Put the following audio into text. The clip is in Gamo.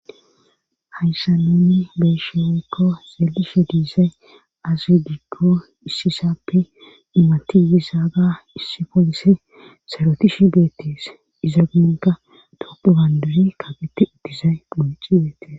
hayssa nuni beesho oykko xeelishe diisay azzudigko issisappe imatiyisaaga issi polisi sarotishi beettes iza ginka topu gandari kafete ittizay muyichi beettes